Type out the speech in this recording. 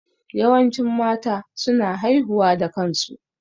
Yawancin mata su na haihuwa da kansu